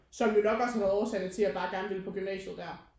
Som jo nok også har været årsagen til at jeg bare gerne ville på gymnasiet der